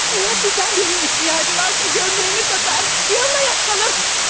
Əgər sizdən birinin ehtiyacı varsa, köynəyini satar, yalın ayaq qalar.